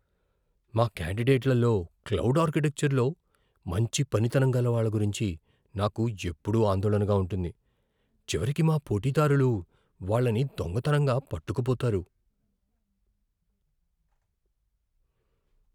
మా కాండిడేట్లలో క్లౌడ్ ఆర్కిటెక్చర్లో మంచి పనితనం గల వాళ్ల గురించి నాకు ఎప్పుడూ ఆందోళనగా ఉంటుంది. చివరికి మా పోటీదారులు వాళ్ళని దొంగతనంగా పట్టుకుపోతారు.